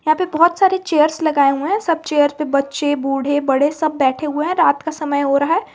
यहां पे बहुत सारे चेयर्स लगाए हुए हैं सब चेयर पे बच्चे बूढ़े बड़े सब बैठे हुए हैं रात का समय हो रहा है।